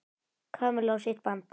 Kamillu á sitt band.